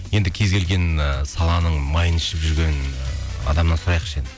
енді кез келген ы саланың майын ішіп жүрген ыыы адамнан сұрайықшы енді